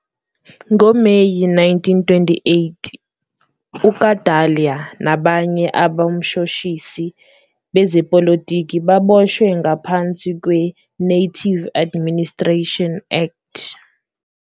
Ngo Meyi 1928 uKadalie nabanye abomshoshimlilo bezepolotiki baboshwe ngaphansi kweNative Administration Act.